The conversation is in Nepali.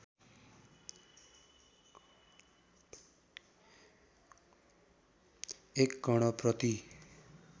१ कण प्रति